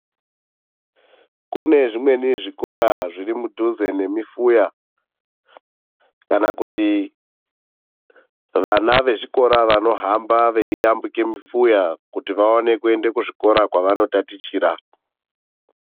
Kune zvimweni zvikora zvirimudhuze nemifuya, kana kuti vana vechikora vanohamba veiyambuke mifuya kuti vaone kuenda kuzvikora kwevanotatichira.